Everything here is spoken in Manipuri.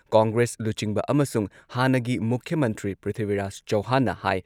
ꯀꯣꯡꯒ꯭ꯔꯦꯁ ꯂꯨꯆꯤꯡꯕ ꯑꯃꯁꯨꯡ ꯍꯥꯟꯅꯒꯤ ꯃꯨꯈ꯭ꯌ ꯃꯟꯇ꯭ꯔꯤ ꯄ꯭ꯔꯤꯊꯤꯕꯤꯔꯥꯖ ꯆꯧꯍꯥꯟꯅ ꯍꯥꯏ